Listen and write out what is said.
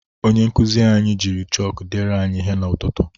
Onye nkuzi anyị jiri chọkụ deere anyị ihe n'ụtụtụ.